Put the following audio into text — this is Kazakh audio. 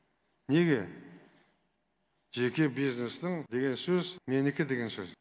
неге жеке бизнесім деген сөз менікі деген сөз